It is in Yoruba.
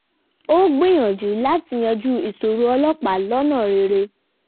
ó gbìyànjú láti yanjú ìṣòro ọlọ́pàá lọ́nà rere